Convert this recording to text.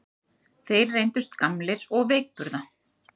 Þeir reyndust gamlir og veikburða